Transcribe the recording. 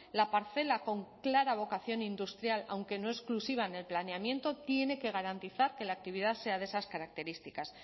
la parcela con clara vocación industrial aunque no exclusiva en el planeamiento tiene que garantizar que la actividad sea de esas características